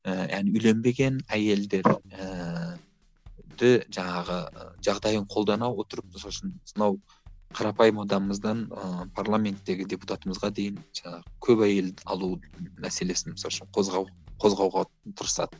ііі әлі үйленбеген әйелдерді жаңағы жағдайын қолдана отырып мысалы үшін мынау қарапайым адамымыздан ыыы парламенттегі депутатымызға дейін жаңағы көп әйел алу мәселесін мысалы үшін қозғау қозғауға тырысады